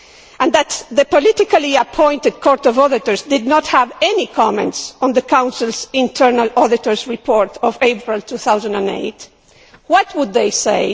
and that the politically appointed Court of Auditors did not have any comments on the Council's internal auditor's report of April 2008, what would they say?